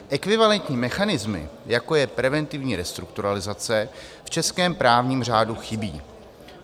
Ekvivalentní mechanismy, jako je preventivní restrukturalizace, v českém právním řádu chybí.